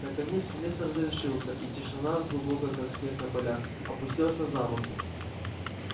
наконец семестр завершился и тишина глубокая как снег на полях опустилась на замок